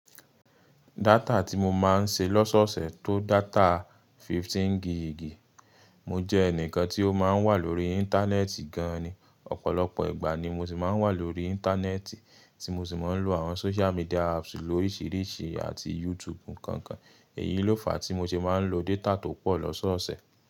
Data tí mo máa ń ṣe lọ́sọ́ọ̀ọ̀sẹ̀ tó data fifteen gigi. Mo jẹ ẹnìkan tí ó máa ń wà lórí Íńtánẹ́ẹ̀tì gan ni, ọ̀pọ̀lọpọ̀ ìgbà ni mo sì máa ń wà lórí Íńtánẹ́ẹ̀tì tí mo sì máa ń lo àwọn social media apps lóriṣiríṣi àti YouTube nkankan. Èyí ló fa tí mo ṣe máa ń lo data tó pọ̀ lọ́sọ́ọ̀ọ̀sẹ̀.